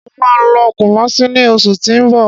Mo ma lọ Kumasi ní oṣù tí ó ń bọ̀